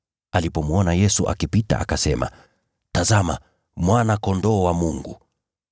Alipomwona Yesu akipita, akasema, “Tazama, Mwana-Kondoo wa Mungu!”